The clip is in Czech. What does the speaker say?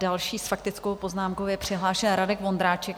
Další s faktickou poznámkou je přihlášen Radek Vondráček.